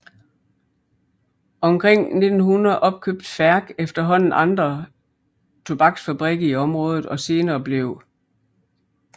Omkring 1900 opkøbte Færch efterhånden andre tobaksfabrikker i området og senere blev R